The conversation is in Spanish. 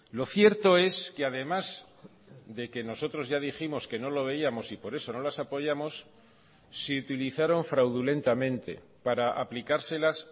lo cierto es que además de que nosotros ya dijimos que no lo veíamos y por eso no las apoyamos se utilizaron fraudulentamente para aplicárselas